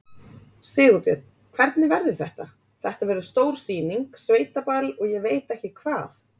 Sigurbjörn, hvernig verður þetta, þetta verður stór sýning, sveitaball og ég veit ekki hvað?